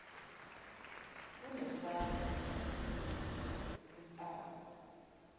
unesandla esilula impama